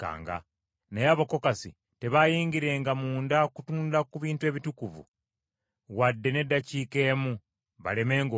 Naye Abakokasi tebaayingirenga munda kutunula ku bintu ebitukuvu, wadde n’eddakiika emu, balemenga okufa.”